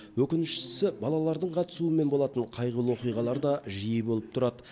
өкініштісі балалардың қатысуымен болатын қайғылы оқиғалар да жиі болып тұрады